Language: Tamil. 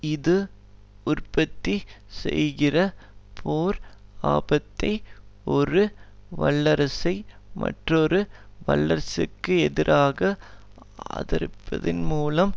இது உற்பத்தி செய்கிற போர் ஆபத்தை ஒரு வல்லரசை மற்றொரு வல்லரசிற்கெதிராக ஆதரிப்பதன்மூலம்